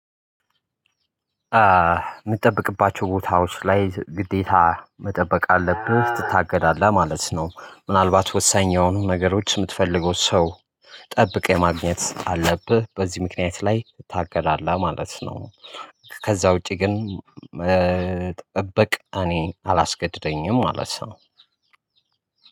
እምጠብቅባቸው ቦታዎች ላይ ግዴታ መጠበቅ አለብህ ትታገዳለህ ማለት ነው ምናልባት ወሳኝ የሆኑ ነገሮች የምትፈልገው ሰው ጠብቀህ የማግኘት አለብህ በዚህ ምክንያት ላይ ታገዳለህ ማለት ነው። ከዛ ውጪ ግን ጥበቃ እኔ አላስገድደኝም ማለት ነው።